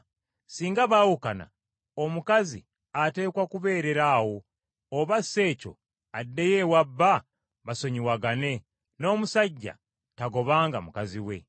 Singa baawukana, omukazi ateekwa kubeerera awo, oba si ekyo addeyo ewa bba basonyiwagane; n’omusajja tagobanga mukazi we.